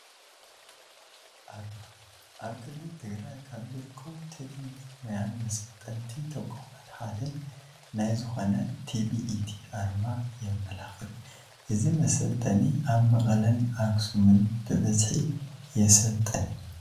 ኣርማ፡- ኣብ ክልል ትግራይ ካብ ዝርከቡ ቴክኒክን ሞያን መሰልጠንቲ ተቋማት ሓደ ናይ ዝኾነ ት.ቪ.ኢ.ቲ ኣርማ የመላኽት፡፡ እዚ መሰልጠኒ ኣብ መቐለን ኣክሱምን ብበዝሒ የሰልጥን፡፡